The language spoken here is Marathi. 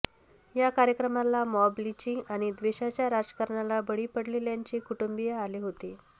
या कार्यक्रमाला मॉब लिंचिंग आणि द्वेषाच्या राजकारणाला बळी पडलेल्यांचे कुटुंबीय आले होते